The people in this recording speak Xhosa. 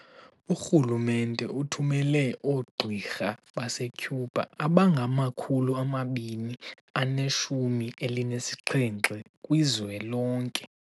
Urhulumente uthumele oogqirha base-Cuba abangama-217 kwizwe lonke.